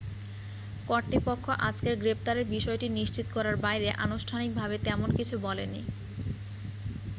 কর্তৃপক্ষ আজকের গ্রেপ্তারের বিষয়টি নিশ্চিত করার বাইরে আনুষ্ঠানিকভাবে তেমন কিছু বলেনি